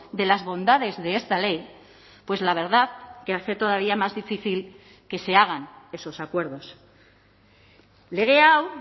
de las bondades de esta ley pues la verdad que hace todavía más difícil que se hagan esos acuerdos lege hau